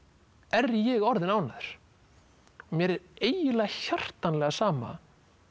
er ég orðinn ánægður mér er eiginlega hjartanlega sama